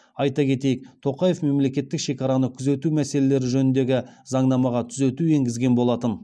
айта кетейік тоқаев мемлекеттік шекараны күзету мәселелері жөніндегі заңнамаға түзету енгізген болатын